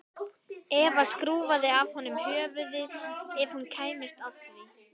Eva skrúfaði af honum höfuðið ef hún kæmist að því.